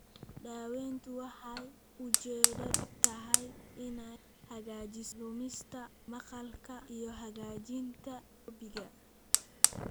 Daaweyntu waxay ujeedadeedu tahay inay hagaajiso lumista maqalka iyo hagaajinta myopiga.